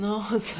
Nossa!